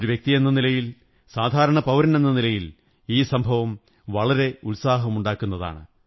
ഒരു വ്യക്തിയെന്ന നിലയിൽ സാധരണ പൌരനെന്ന നിലയിൽ ഈ സംഭവം വളരെ ഉത്സാഹമുണ്ടാക്കുന്നതാണ്